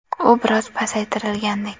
U biroz pasaytirilgandek.